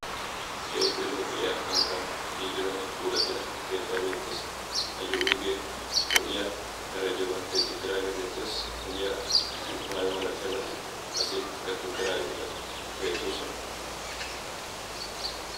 Keehippe lo"iyaa hanotan giigidanne puulattida keettay beettes. Ayyo wuygee lo"iyaa meray diyoogan tiyetti uttidaagee beettes. Miyiyaara maayo milatiyaabati qassi kaqetti uttidaageetikka beettoosona.